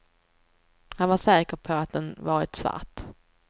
Han var säker på att den varit svart.